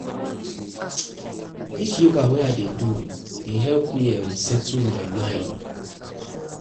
Dis yoga wey I dey do dey help um me settle um my mind. um